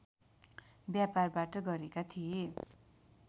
व्यापारबाट गरेका थिए